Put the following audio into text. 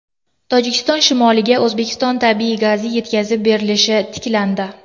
Tojikiston shimoliga O‘zbekiston tabiiy gazi yetkazib berilishi tiklandi.